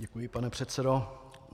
Děkuji, pane předsedo.